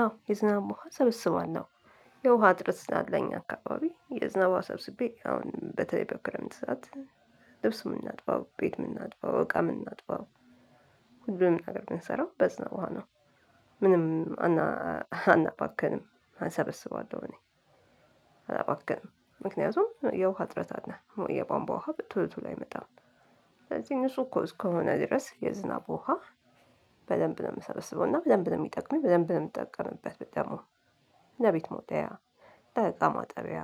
አዎ የዝናብ ውሃ ሰበስባለሁ የውሃ እጥረት ስላለ እኛ አከባቢ የዝናብ ውሃ ሰብስቤ በተለይ በክረምት ወቅት ልብስ ሚናጥበው እቃ ሚናጥበው ሁሉንም ነገር ምንሰራው በዝናብ ውሃ ነው። ምንም አናባክንም እሰበስባለሁ እኔ አላባክም ምክንያቱም የውሃ እጥረት አለ የቧንቧ ውሃ ቶሎ ቶሎ አይመጣም። ስለዚህ እነሱ እኮ እስከሆነ ድረስ የዝናብ ውሃ በደንብ ነው ምሰበስበውና በደንብ ነው ሚጠቅመኝ በደንብ ነው ምጠቀምበት ደግሞ። ለቤት መወልወያ፣ ለእቃ ማጠቢያ፣